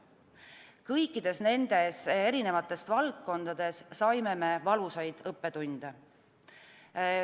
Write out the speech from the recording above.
Kõikides nendes valdkondades saime me valusaid õppetunde.